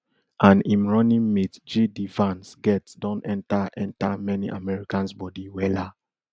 and im running mate jd vance get don enta enta many americans bodi wella